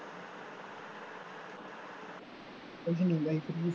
ਕੁੱਛ ਨਹੀਂ ਬਾਈ